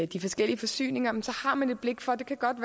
de forskellige forsyninger har man blik for at det godt